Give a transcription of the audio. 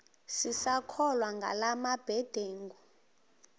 sisakholwa ngala mabedengu